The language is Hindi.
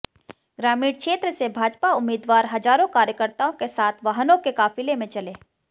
ग्रामीण क्षेत्र से भाजपा उम्मीदवार हजारों कार्यकर्ताओं के साथ वाहनों के काफिले में चले